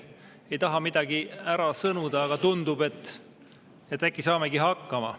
Ei taha midagi ära sõnuda, aga tundub, et äkki saamegi hakkama.